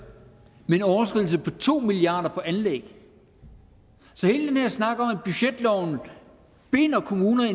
men en overskridelse på to milliard kroner på anlæg så hele den her snak om at budgetloven binder kommunerne